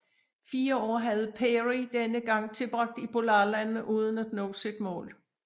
Fire år havde Peary denne gang tilbragt i polarlandene uden at nå sit mål